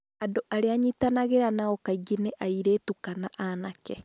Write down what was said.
andũ arĩa nyitanagĩra nao kaingĩ nĩ airĩtu kana anake